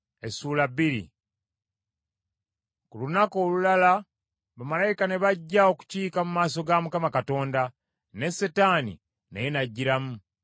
Ku lunaku olulala bamalayika ne bajja okukiika mu maaso ga Mukama Katonda, ne Setaani naye n’ajjiramu.